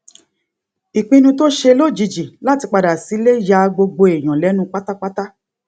ìpinnu tó ṣe lójijì láti padà sílé ya gbogbo èèyàn lénu pátápátá